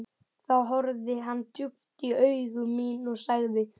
Þá horfði hann djúpt í augu mín og sagði